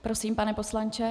Prosím, pane poslanče.